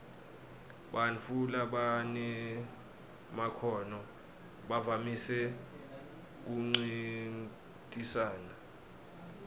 bantfu labanemakhono bavamise kuncintisana